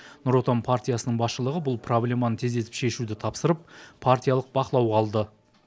нұр отан партиясының басшылығы бұл проблеманы тездетіп шешуді тапсырып партиялық бақылауға алды